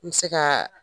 N bɛ se ka